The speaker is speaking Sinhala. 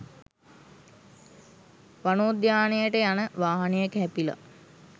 වනෝද්‍යානයට යන වාහනයක හැපිලා